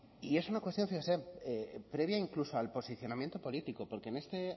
y es una cuestión fíjese previa incluso al posicionamiento político porque en este